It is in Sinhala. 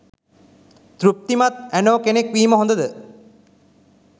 තෘප්තිමත් ඇනෝ කෙනෙක් වීම හොඳ ද?